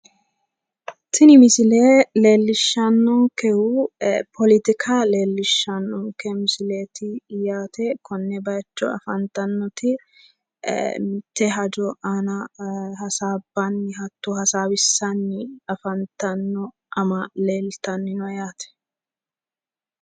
Tini misile leellishshannonkehu poletika leellishshannonke misileeti yaate konne bayicho afantannoti mitte hajo aana hasaabbanni hatto hasaawissanni afantanno. Amaa'le yitanni no yaate.